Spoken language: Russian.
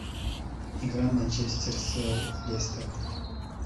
игра манчестер с лестером